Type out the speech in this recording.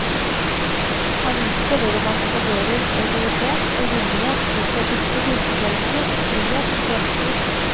Han viste hvordan man etablerer autoritet og gyldighet ut fra visse grunnfortellinger om frihet og fremskritt.